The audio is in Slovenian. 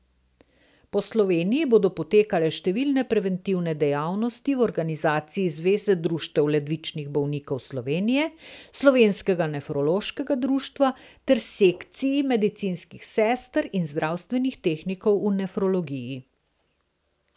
Po Sloveniji bodo potekale številne preventivne dejavnosti v organizaciji Zveze društev ledvičnih bolnikov Slovenije, Slovenskega nefrološkega društva ter Sekciji medicinskih sester in zdravstvenih tehnikov v nefrologiji.